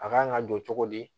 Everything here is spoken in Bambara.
A kan ka jɔ cogo di